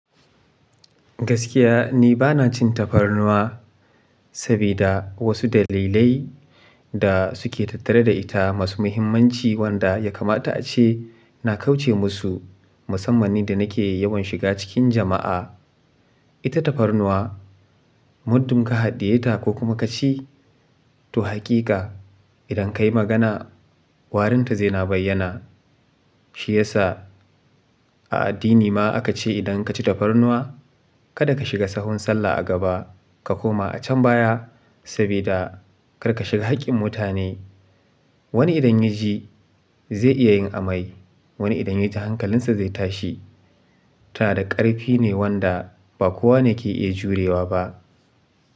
Gaskiya ni ba na cin tafarnuwa sabida wasu dalilai da suke tattare da ita masu muhimmanci wanda ya kamata ace na kauce musu musamman ni da nake yawan shiga cikin jama'a. Ita tafarnuwa muddin ka haɗiye ta ko kuma ka ci to haƙiƙa idan ka yi magana warinta zai na bayyana. Shi yasa a addini ma aka ce idan ka ci tafarnuwa kada ka shiga sahun sallah a gaba ka koma a can baya sabida karka shiga haƙƙin mutane. Wani idan ya ji zai iya yin amai, wani idan ya ji hankalinsa zai tashi. Tana da ƙarfi ne wanda ba kowane yake iya jurewa ba.